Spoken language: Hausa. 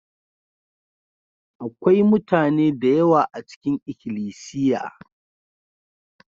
Akwai mutane da yawa a cikin ikilisiya.